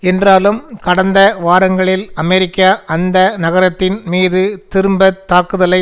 என்றாலும் கடந்த வாரங்களில் அமெரிக்கா அந்த நகரத்தின் மீது திரும்பத்தாக்குதலை